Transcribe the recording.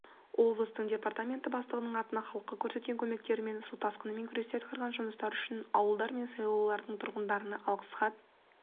облыстың департаменті бастығының атына халыққа көрсеткен көмектері мен су тасқынымен күресте атқарған жұмыстары үшін ауылдар мен селолардың тұрғындарынан алғыс хат келген